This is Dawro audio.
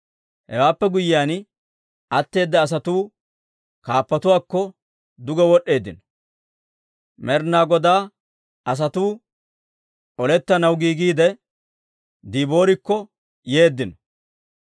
«Hewaappe guyyiyaan, atteeda asatuu kaappatuwaakko duge wod'd'eeddino. Med'inaa Godaa asatuu olettanaw giigiide Diboorikko yeeddino.